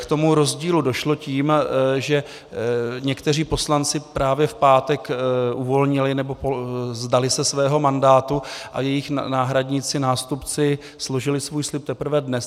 K tomu rozdílu došlo tím, že někteří poslanci právě v pátek uvolnili, nebo se vzdali svého mandátu a jejich náhradníci, nástupci složili svůj slib teprve dnes.